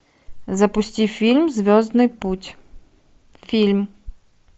запусти фильм звездный путь фильм